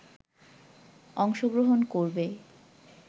অংশগ্রহণ করবে